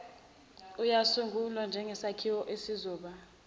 uyasungulwa njengsakhiwo esizoba